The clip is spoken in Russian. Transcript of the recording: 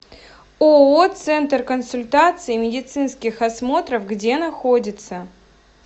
ооо центр консультаций и медицинских осмотров где находится